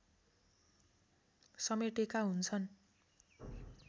समेटेका हुन्छन्